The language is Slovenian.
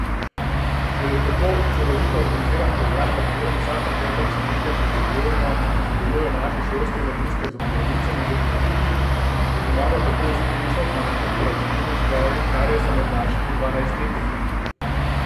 Šele tako celovito organiziran program, v katerem vsa pretekla desetletja prizadevno sodelujejo naše šolske in mladinske zobozdravnice in zobozdravniki, je pomagal tako uspešno zmanjšati razširjenost kariesa med našimi dvanajstletniki.